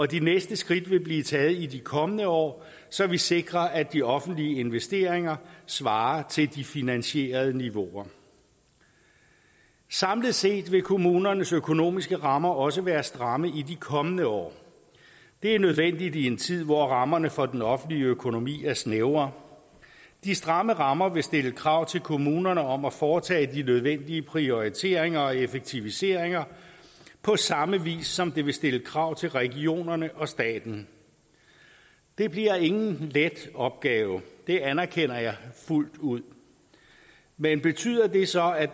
de næste skridt vil blive taget i de kommende år så vi sikrer at de offentlige investeringer svarer til de finansierede niveauer samlet set vil kommunernes økonomiske rammer også være stramme i de kommende år det er nødvendigt i en tid hvor rammerne for den offentlige økonomi er snævre de stramme rammer vil stille krav til kommunerne om at foretage de nødvendige prioriteringer og effektiviseringer på samme vis som det vil stille krav til regionerne og staten det bliver ingen let opgave det anerkender jeg fuldt ud men betyder det så at